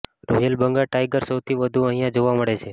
royal Bengal tiger સૌથી વધુ અહિયાં જોવા મળે છે